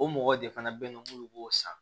O mɔgɔ de fana bɛ n bolo minnu b'o san